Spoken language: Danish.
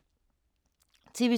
TV 2